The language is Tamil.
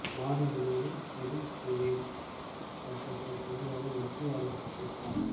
நாடு முழுவதும் பொதுசிவில் சட்டத்தை கொண்டு வர மத்திய அரசு திட்டம்